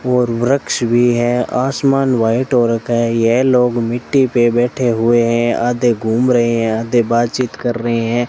और वृक्ष भी है आसमान व्हाइट हो रखा है यह लोग मिट्टी पे बैठे हुए हैं आधे घूम रहे हैं आधे बातचीत कर रहे हैं।